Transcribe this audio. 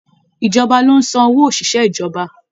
Ìjọba lo n san owó oṣiṣẹ ìjọba.